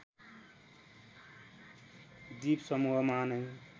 द्वीपसमूहमा नैं